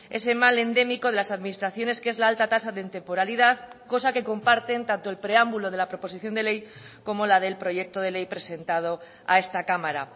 ese mal endémico de las administraciones que es la alta tasa de temporalidad cosa que comparten tanto el preámbulo de la proposición de ley como la del proyecto de ley presentado a esta cámara